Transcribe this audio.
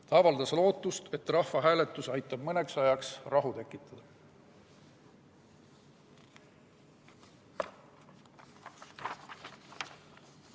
Ta avaldas lootust, et rahvahääletus aitab mõneks ajaks rahu tekitada.